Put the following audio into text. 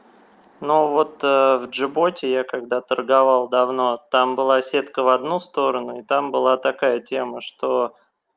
ну вот в джиботе я когда торговал давно там была сетка в одну сторону и там была такая тема что